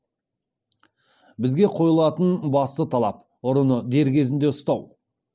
бізге қойылатын басты талап ұрыны дер кезінде ұстау